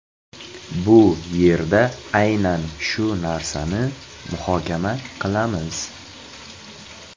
Bu yerda aynan shu narsani muhokama qilamiz.